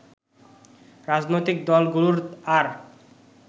রাজনৈতিক দলগুলোর আর